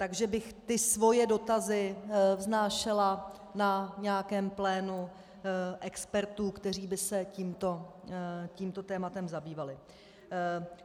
Takže bych ty svoje dotazy vznášela na nějakém plénu expertů, kteří by se tímto tématem zabývali.